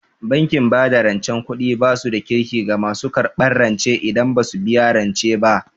Bankin bada rancen kuɗi basu da Kirki ga masu karɓan rance idan basu biya rance ba